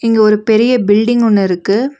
இங்க ஒரு பெரிய பில்டிங் ஒன்னு இருக்கு.